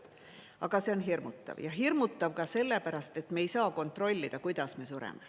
Aga see on hirmutav, ja hirmutav ka sellepärast, et me ei saa kontrollida, kuidas me sureme.